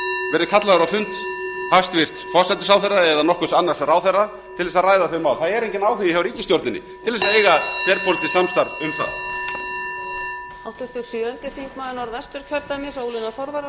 verið kallaður á fund hæstvirtur forsætisráðherra eða nokkurs annars ráðherra til þess að ræða þau mál það er enginn áhugi hjá ríkisstjórninni til þess að eiga þverpólitískt samstarf um það